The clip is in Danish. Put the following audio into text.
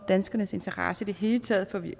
danskernes interesse i det hele taget